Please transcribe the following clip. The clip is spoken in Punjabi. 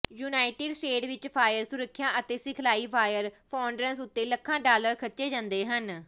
ਯੂਨਾਈਟਿਡ ਸਟੇਟ ਵਿਚ ਫਾਇਰ ਸੁਰੱਖਿਆ ਅਤੇ ਸਿਖਲਾਈ ਫਾਇਰ ਫੌਂਡਰਸ ਉੱਤੇ ਲੱਖਾਂ ਡਾਲਰ ਖਰਚੇ ਜਾਂਦੇ ਹਨ